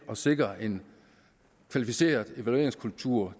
at sikre en kvalificeret evalueringskultur